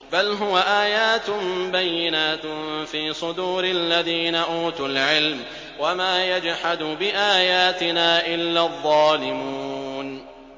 بَلْ هُوَ آيَاتٌ بَيِّنَاتٌ فِي صُدُورِ الَّذِينَ أُوتُوا الْعِلْمَ ۚ وَمَا يَجْحَدُ بِآيَاتِنَا إِلَّا الظَّالِمُونَ